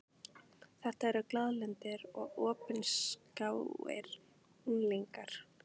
Þetta eru glaðlyndir og opinskáir unglingar.